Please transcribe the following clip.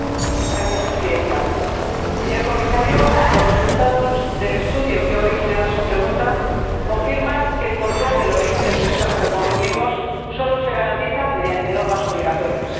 Señora Presidenta, señor Comisario, los resultados del estudio que ha originado esta pregunta confirman que el control del origen del pescado que consumimos solo se garantiza mediante normas obligatorias.